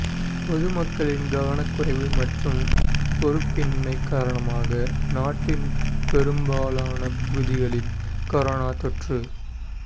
பொது மக்களின் கவனக்குறைவு மற்றும் பொறுப்பின்மை காரணமாக நாட்டின் பெரும்பாலான பகுதிகளில் கொரோனா தொற்று